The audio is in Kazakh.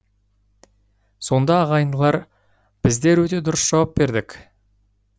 сонда ағайындылар біздер өте дұрыс жауап бердік